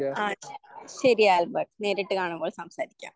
ആ ശരി ആൽബർട്ട് നേരിട്ട് കാണുമ്പോൾ സംസാരിക്കാം.